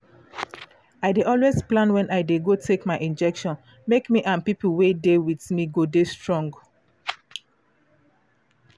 i dey always plan wen i dey go take my injection make me and pipu wey dey with me go dey strong